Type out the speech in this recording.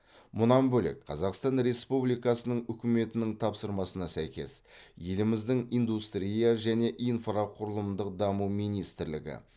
мұнан бөлек қазақстан республикасының үкіметінің тапсырмасына сәйкес еліміздің индустрия және инфрақұрылымдық даму министрлігі